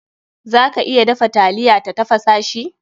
Za ka iya dafa taliya ta tafasa shi.